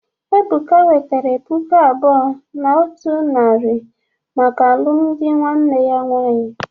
Ebuka wetara puku abuo na otu naari maka alụmdi nwanne ya nwaanyị.